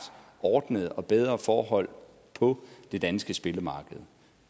ordnede og bedre forhold på det danske spillemarked